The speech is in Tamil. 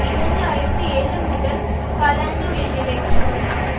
இரண்டு ஆயிரத்தி ஏழு முதல் காலாண்டு உயர்நிலைக்கு சமமாகும்